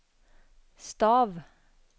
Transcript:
stav